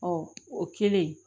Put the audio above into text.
o kɛlen